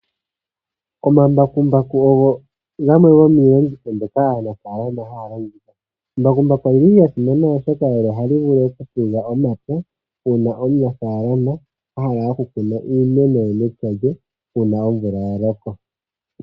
Omambakumbaku ogo iiyenditho mbyoka aanafaalama haya longitha. Omambakumbaku ogasimana oshoka ogo haga pulula omapya uuna aanafaalama yahala okukuna iimeno pethimbo lyomvula.